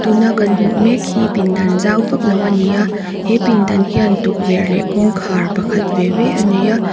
tuna kan hmuh mek hi pindan zau vaklo ani a he pindan hian tukverh leh kawngkhar pakhat ve ve anei a--